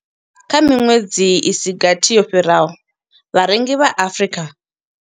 Kha miṅwedzi i si gathi yo fhiraho, vharengi vha Afrika.